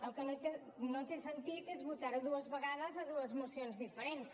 el que no té sentit és votar ho dues vegades a dues mocions diferents